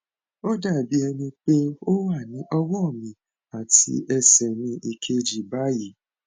ó dàbí ẹni pé ó wà ní ọwọ mi àti ẹsẹ mi kejì báyìí